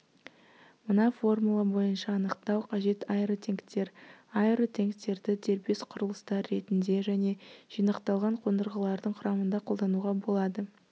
мына формула бойынша анықтау қажет аэротенктер аэротенктерді дербес құрылыстар ретінде және жинақталған қондырғылардың құрамында қолдануға болады